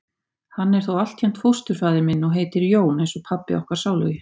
Hann er þó altént fósturfaðir minn. og heitir Jón eins og pabbi okkar sálugi.